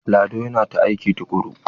Lado yana ta aiki tukuru.